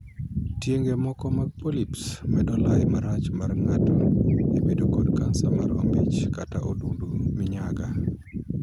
Tienge moko mag 'polyps' medo lai marach mar ng'ato e bedo kod kansa mar ombich kata odundu minyaga.